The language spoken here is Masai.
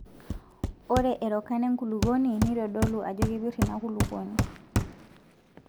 Ore erokan enkulukuoni neitodolu ajo kepir inakulukuoni.